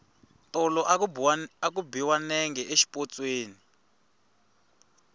tolo a ku biwa nenge xipotsweni